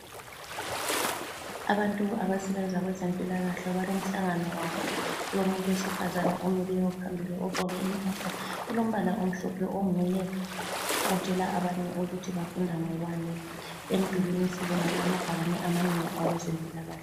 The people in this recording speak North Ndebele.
Abantu abasebenza kwezempilakahle balomhlangano wabo. Kulomuntu wesifazane omileyo phambili ogqoke impahla elombala omhlophe onguye otshela abanye ukuthi bafunda ngokwani. Emdulini sibona kulamabhakane amanengi awezempilakahle.